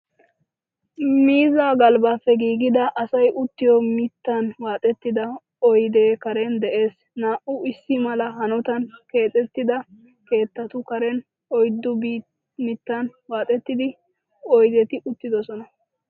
Miizzaa galbbappe giigida asay uttiyoo mittan waaxetida oydee Karen de'ees. Naa"u issi mala hanotan keexetida keettatu Karen oyddu mittan waaxetida oydeti uttidosona.